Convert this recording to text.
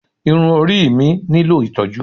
Irun orí mi nílò ìtọ́jú.